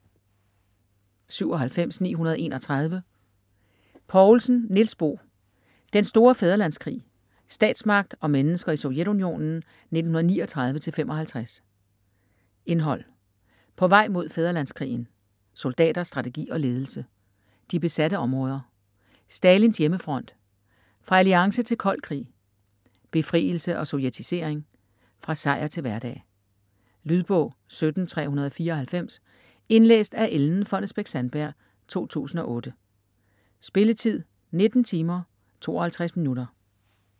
97.931 Poulsen, Niels Bo: Den store fædrelandskrig: statsmagt og mennesker i Sovjetunionen 1939-55 Indhold: På vej mod fædrelandskrigen; Soldater, strategi og ledelse; De besatte områder; Stalins hjemmefront; Fra alliance til kold krig; Befrielse og sovjetisering; Fra sejr til hverdag. Lydbog 17394 Indlæst af Ellen Fonnesbech-Sandberg, 2008. Spilletid: 19 timer, 52 minutter.